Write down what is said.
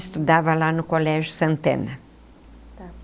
Estudava lá no Colégio Santana. Tá.